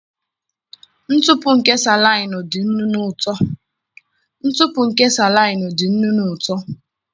Ntụpụ nke salaịnụ dị nnu na uto.